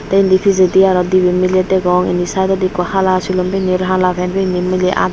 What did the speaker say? tey indi pijedi aro dibey miley degong indi saidodi ikko hala silum pinney uri hala pen pinney miley aa.